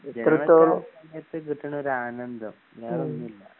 സമയത്ത് കിട്ടണോരാനന്ദം വേറൊന്നുല്ല